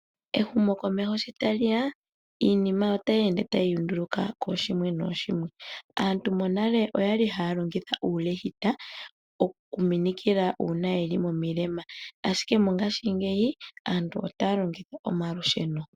Ehumokomeho sho tali ya iinima otayi ende kooshimwe nooshimwe . Aantu nale okwa li haya longitha uulehite okuminikila uuna yeli momilema, ashike mongashingeyi otaya longitha omalusheno.